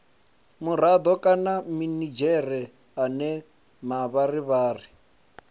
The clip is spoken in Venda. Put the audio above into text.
murado kana minidzhere ane mavharivhari